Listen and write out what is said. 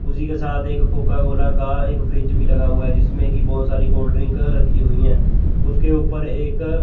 उसी के साथ एक कोका कोला का एक फ्रिज भी लगा हुआ है जिसमें की बहोत सारी कोल्ड ड्रिंक कर रखी हुई हैं उसके ऊपर एक--